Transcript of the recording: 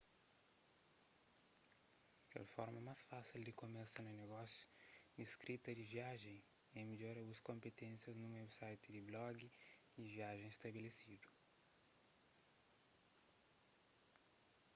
kel forma más fásil di kumesa na negósiu di skrita di viajen é midjora bu konpiténsias nun website di blogi di viajen stabelesidu